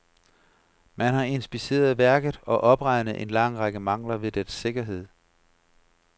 Man har inspiceret værket og opregnet en lang række mangler ved dets sikkerhed.